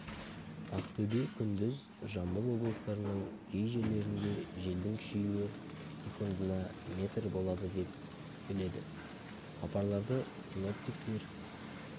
ақтөбе күндіз жамбыл облыстарының кей жерлерінде желдің күшеюі секундына метр болады деп күтіледі хабарлады синоптиктер